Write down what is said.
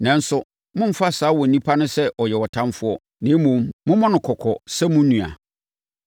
Nanso, mommfa saa onipa no sɛ ɔyɛ ɔtamfoɔ na mmom, mommɔ no kɔkɔ sɛ mo nua.